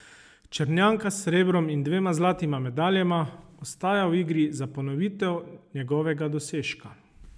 Črnjanka s srebrom in dvema zlatima medaljama, ostaja v igri za ponovitev njegovega dosežka.